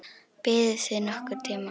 Biðuð þið nokkurn tíma?